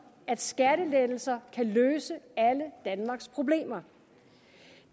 at skattelettelser kan løse alle danmarks problemer